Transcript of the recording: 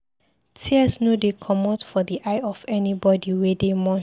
Tears no dey comot for di eye of anybodi wey dey mourn.